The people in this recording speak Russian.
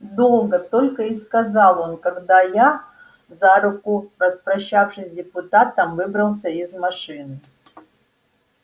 долго только и сказал он когда я за руку распрощавшись с депутатом выбрался из машины